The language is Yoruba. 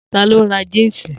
Ta ló ra jínsì